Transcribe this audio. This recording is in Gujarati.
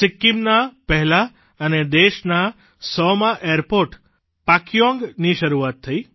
સિક્કિમના પહેલા અને દેશના સો મા એરપોર્ટ પાકયોંગની શરૂઆત થઇ